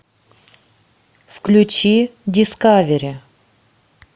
включи дискавери